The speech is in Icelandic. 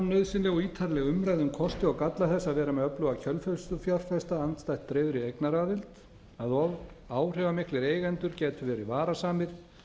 nauðsynleg og ítarleg umræða um kosti og galla þess að vera með öfluga kjölfestufjárfesta andstætt dreifðri eignaraðild að áhrifamiklir eigendur gætu verið varasamir